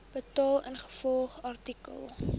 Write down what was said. betaal ingevolge artikel